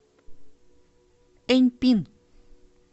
эньпин